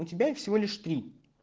у тебя их всего лишь три